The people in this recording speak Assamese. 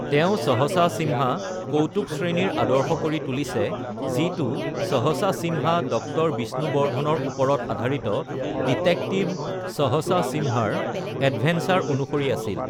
তেওঁ সহসা সিম্হা কৌতুক শ্ৰেণীৰ আদৰ্শ কৰি তুলিছে, যিটো সহসা সিম্হা ড০ বিষ্ণুবৰ্ধণৰ ওপৰত আধাৰিত ডিটেকটিভ সহসা সিম্হাৰ অ্যাডভেঞ্চৰ অনুসৰি আছিল।